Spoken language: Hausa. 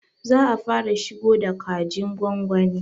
Za a fara shigo da kajin gwagwani